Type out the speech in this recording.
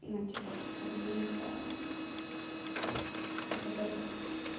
ну типа как по мне это это бред